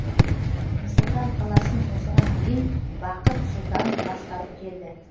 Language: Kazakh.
нұр сұлтан қаласын осыған дейін бақыт сұлтанов басқарып келді